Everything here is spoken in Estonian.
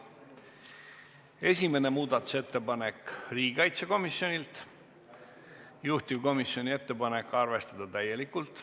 Esimene muudatusettepanek on riigikaitsekomisjonilt, juhtivkomisjoni ettepanek on arvestada täielikult.